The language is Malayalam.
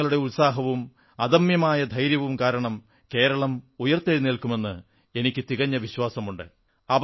ജനങ്ങളുടെ ഉത്സാഹവും അദമ്യമായ ധൈര്യവും മൂലം കേരളം ഉയിർത്തെഴുന്നേൽക്കുമെന്ന് എനിക്കു തികഞ്ഞ വിശ്വാസമുണ്ട്